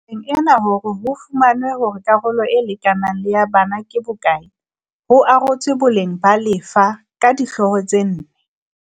Tabeng ena hore ho fumanwe hore karolo e lekanang le ya bana ke bo kae ho arotswe boleng ba lefa ka dihlooho tse nne